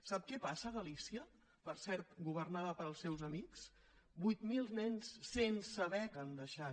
sap què passa a galícia per cert governada pels seus amics vuit mil nens sense beca han deixat